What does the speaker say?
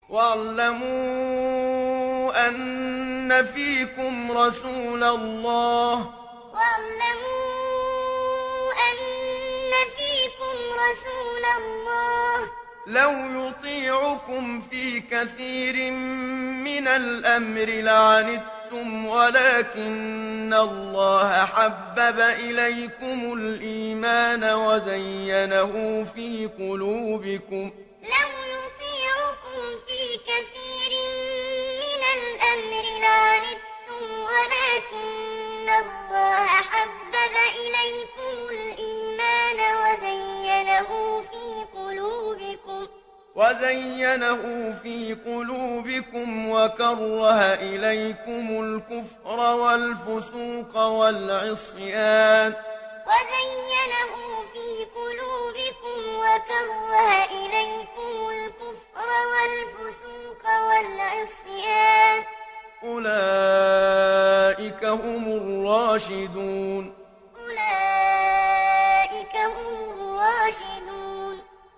وَاعْلَمُوا أَنَّ فِيكُمْ رَسُولَ اللَّهِ ۚ لَوْ يُطِيعُكُمْ فِي كَثِيرٍ مِّنَ الْأَمْرِ لَعَنِتُّمْ وَلَٰكِنَّ اللَّهَ حَبَّبَ إِلَيْكُمُ الْإِيمَانَ وَزَيَّنَهُ فِي قُلُوبِكُمْ وَكَرَّهَ إِلَيْكُمُ الْكُفْرَ وَالْفُسُوقَ وَالْعِصْيَانَ ۚ أُولَٰئِكَ هُمُ الرَّاشِدُونَ وَاعْلَمُوا أَنَّ فِيكُمْ رَسُولَ اللَّهِ ۚ لَوْ يُطِيعُكُمْ فِي كَثِيرٍ مِّنَ الْأَمْرِ لَعَنِتُّمْ وَلَٰكِنَّ اللَّهَ حَبَّبَ إِلَيْكُمُ الْإِيمَانَ وَزَيَّنَهُ فِي قُلُوبِكُمْ وَكَرَّهَ إِلَيْكُمُ الْكُفْرَ وَالْفُسُوقَ وَالْعِصْيَانَ ۚ أُولَٰئِكَ هُمُ الرَّاشِدُونَ